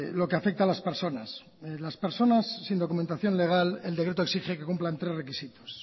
lo que afecta a las personas las personas sin documentación legal el decreto exige que cumplan tres requisitos